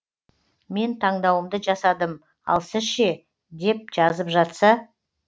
мен таңдауымды жасадым ал сіз ше деп жазып жатса